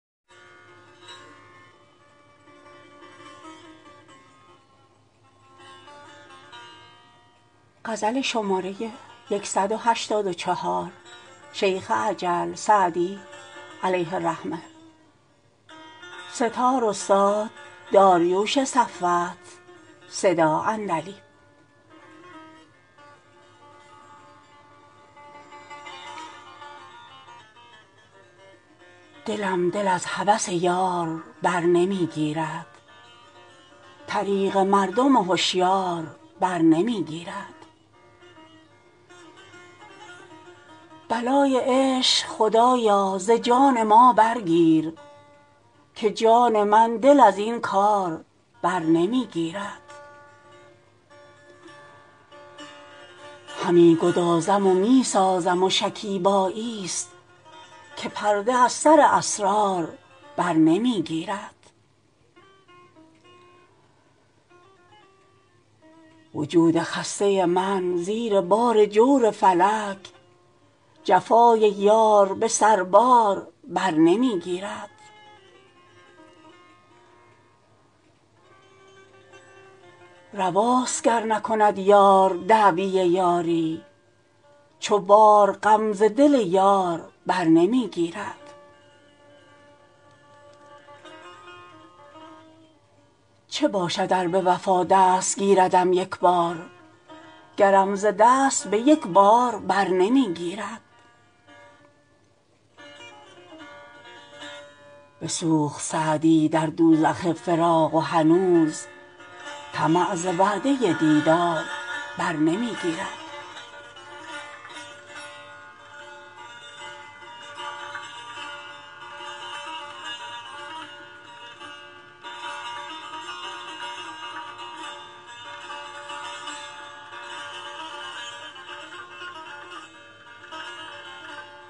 دلم دل از هوس یار بر نمی گیرد طریق مردم هشیار بر نمی گیرد بلای عشق خدایا ز جان ما برگیر که جان من دل از این کار بر نمی گیرد همی گدازم و می سازم و شکیباییست که پرده از سر اسرار بر نمی گیرد وجود خسته من زیر بار جور فلک جفای یار به سربار بر نمی گیرد رواست گر نکند یار دعوی یاری چو بار غم ز دل یار بر نمی گیرد چه باشد ار به وفا دست گیردم یک بار گرم ز دست به یک بار بر نمی گیرد بسوخت سعدی در دوزخ فراق و هنوز طمع ز وعده دیدار بر نمی گیرد